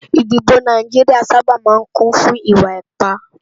Idibò Náijiriá sàbá má n kún fún iwá ipá